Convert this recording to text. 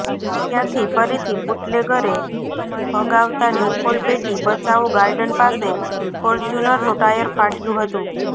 ત્યાંથી ફરીથી બુટલેગરે ભગાવતા નિકોલ બેટી બચાવો ગાર્ડન પાસે ફોર્ચ્યુનરનું ટાયર ફાટ્યું હતું